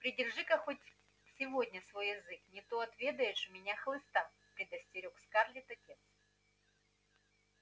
придержи-ка хоть сегодня свой язык не то отведаешь у меня хлыста предостерёг скарлетт отец